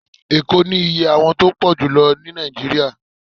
Eko ni íyẹ́ àwon tọ pojulo ni Naijiria